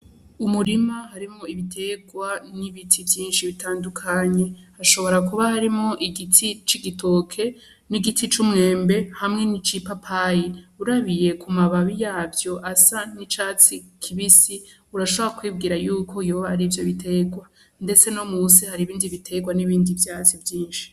Umurima harimo ibiterwa n'ibiti vyinshi bitandukanye hashobora kuba harimwo igiti c'igitoke n'igiti c'umwembe hamwe ni c'i papayi urabiye ku mababi yavyo asa n'icatsi kibisi urashobora kwibwira yuko yoba arivyo biterwa, ndetse no musi hari ibindi biterwa n'ibindi vyatsi vyinshi.